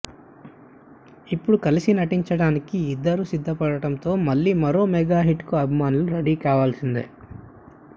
ఇప్పుడు కలసి నటించడానికి ఇద్దరూ సిద్ధపడటంతో మళ్లీ మరో మెగా హిట్ కు అభిమానులు రెడీ కావాల్సిందే